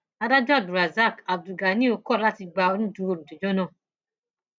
adájọ abdulrasak abdulganiyun kọ láti gba onídùúró olùjẹjọ náà